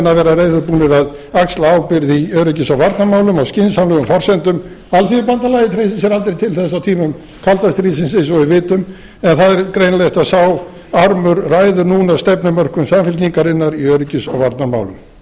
að vera reiðubúnir til að axla ábyrgð í öryggis og varnarmálum á skynsamlegum forsendum alþýðubandalagið treysti sér aldrei til þess á tímum kalda stríðsins eins og við vitum en það er greinilegt að sá armur ræður núna stefnumörkun samfylkingarinnar í öryggis og varnarmálum